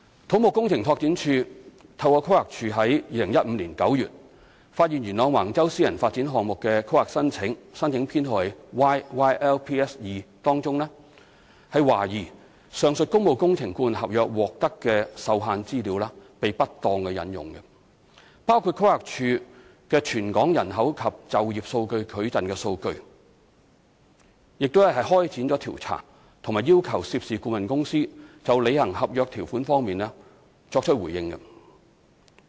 土木工程拓展署透過規劃署於2015年9月發現元朗橫洲私人發展項目的規劃申請中，懷疑上述工務工程顧問合約獲得的受限資料被不當引用，包括規劃署的《全港人口及就業數據矩陣》數據，並開展調查及要求涉事顧問公司就履行合約條款方面作出回應。